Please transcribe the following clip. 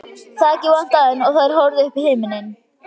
Þakið vantaði enn og þær horfðu upp í himininn.